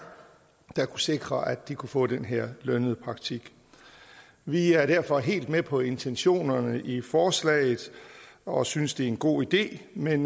der kunne sikre at de kunne få den her lønnede praktik vi er derfor helt med på intentionerne i forslaget og synes det er en god idé men